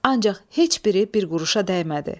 Ancaq heç biri bir quruşa dəymədi.